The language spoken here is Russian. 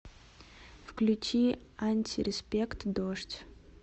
включи антиреспект дождь